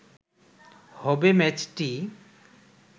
হবে ম্যাচটি